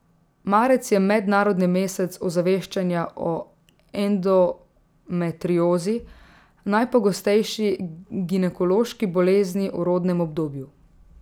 Marec je mednarodni mesec ozaveščanja o endometriozi, najpogostejši ginekološki bolezni v rodnem obdobju.